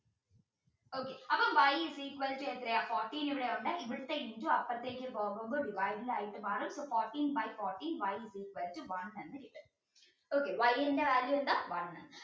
okay അപ്പോ y is equal to എത്രയാ fourteen ഇവിടെയുണ്ട് ഇവിടുത്തെ into അപ്പുറത്തേക്ക് പോകുമ്പോൾ divided ആയിട്ട് മാറും fourteen by fourteen y is equal to one okay y ന്റെ value എന്താ one